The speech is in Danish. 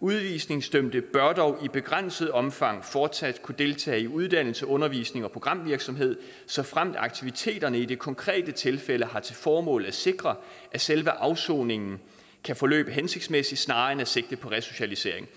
udvisningsdømte bør dog i begrænset omfang fortsat kunne deltage i uddannelse undervisning og programvirksomhed såfremt aktiviteterne i det konkrete tilfælde har til formål at sikre at selve afsoningen kan forløbe hensigtsmæssigt snarere end at tage sigte på resocialisering